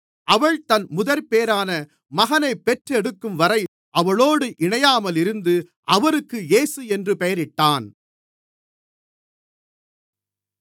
அவள் தன் முதற்பேறான மகனைப் பெற்றெடுக்கும் வரை அவளோடு இணையாமலிருந்து அவருக்கு இயேசு என்று பெயரிட்டான்